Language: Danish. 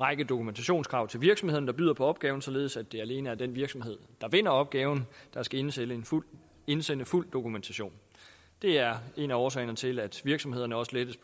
række dokumentationskrav til virksomhederne der byder på opgaven således at det alene er den virksomhed der vinder opgaven der skal indsende fuld indsende fuld dokumentation det er en af årsagerne til at virksomhederne også lettes